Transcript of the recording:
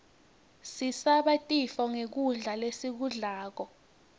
sisabe tifo nqgkudla lesikublako